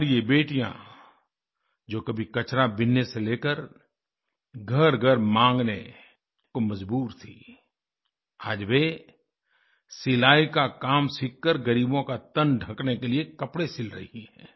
हमारी ये बेटियाँ जो कभी कचराबीनने से लेकर घरघर माँगने को मजबूर थीं आज वें सिलाई का काम सीख कर ग़रीबों का तन ढ़कने के लिए कपड़े सिल रही हैं